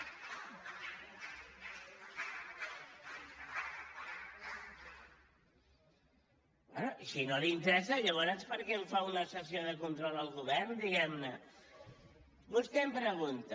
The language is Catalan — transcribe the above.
bé i si no li interessa llavors per què em fa una sessió de control al govern diguem ne vostè em pregunta